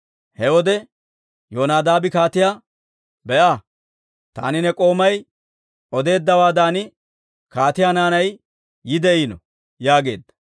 He wode Yonadaabi kaatiyaa, «Be'a! Taani ne k'oomay odeeddawaadan kaatiyaa naanay yeeddino» yaageedda.